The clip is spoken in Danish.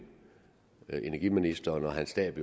energiministeren og hans stab